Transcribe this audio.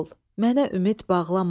mənə ümid bağlama.